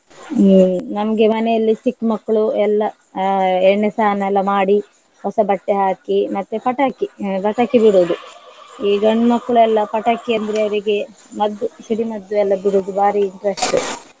ಹ್ಮ್ ನಮ್ಗೆ ಮನೆಯಲ್ಲಿ ಚಿಕ್ಕ್ ಮಕ್ಳು ಎಲ್ಲ ಅಹ್ ಎಣ್ಣೆ ಸ್ನಾನ ಎಲ್ಲ ಮಾಡಿ ಹೊಸ ಬಟ್ಟೆ ಹಾಕಿ ಮತ್ತೆ ಪಟಾಕಿ ಹಾ ಪಟಾಕಿ ಬಿಡುದು ಈ ಗಂಡ್ ಮಕ್ಕ್ಳೆಲ್ಲ ಪಟಾಕಿ ಅಂದ್ರೆ ಅವರಿಗೆ ಮದ್ದು ಸಿಡಿ ಮದ್ದು ಎಲ್ಲ ಬಿಡುದು ಬಾರಿ interest .